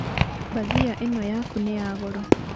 Mbathia ino yaku nĩ ya goro.